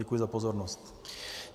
Děkuji za pozornost.